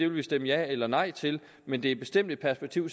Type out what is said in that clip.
vil stemme ja eller nej til men det er bestemt et perspektiv